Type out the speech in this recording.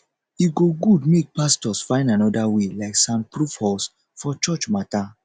e go good make pastors find anoda way like soundproof halls for church mata